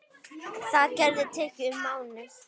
Það getur tekið um mánuð.